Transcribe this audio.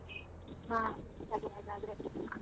ಹ ಸರಿ ಆಗಾದ್ರೆ.